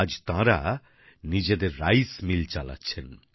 আজ তাঁরা নিজেদের চাল কল চালাচ্ছেন